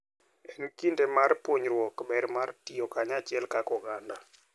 En kinde mar puonjruok ber mar tiyo kanyachiel kaka oganda.